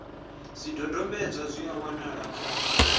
zwidodombedzwa zwi a wanalea kha